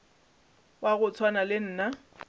wa go swana le nna